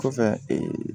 Kɔfɛ